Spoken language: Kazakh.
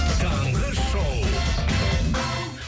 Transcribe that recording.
таңғы шоу